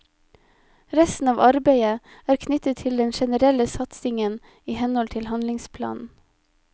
Resten av arbeidet er knyttet til den generelle satsingen i henhold til handlingsplanen.